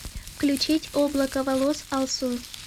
включить облако волос алсу